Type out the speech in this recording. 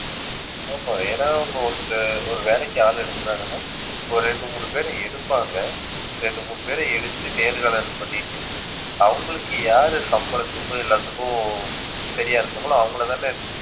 ஆமா, ஏன்னா, அவங்க ஒருத்தர் ஒரு வேலைக்கு ஆள் எடுக்குறாங்கன்னா ஒரு இரண்டு மூன்று பேரை எடுப்பாங்க. இரண்டு மூன்று பேரை எடுத்து நேர்காணல் பண்ணிட்டு அவங்களுக்கு யாரு சம்பளத்துக்கும் எல்லாத்துக்கும் சரியா இருக்காங்களோ அவங்களைதானே